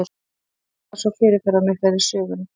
Hvers vegna eru þær svo fyrirferðamiklar í sögunni?